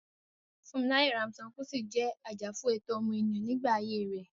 Funmilayo Ransome Kuti jẹ́ ajàfún ẹ̀tọ́ ọmọnìyàn nígbà ayé rẹ̀.